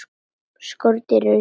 Skordýr eru dýr.